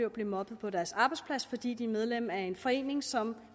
at blive mobbet på deres arbejdsplads fordi de er medlem af en forening som